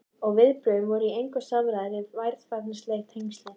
Og viðbrögðin voru í engu samræmi við varfærnisleg tengslin.